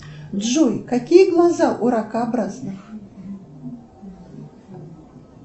джой какие глаза у ракообразных